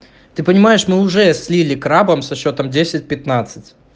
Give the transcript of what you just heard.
ты понимаешь мы уже слили крабом со счётом десять пятнадцать